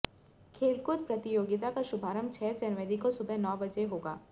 खेलकूद प्रतियोगिता का शुभारंभ छह जनवरी को सुबह नौ बजे होगा